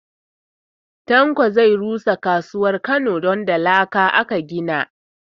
Tanko zai rusa kasuwar Kano don da laka aka gina shi